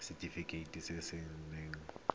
ke setefikeiti se se nayang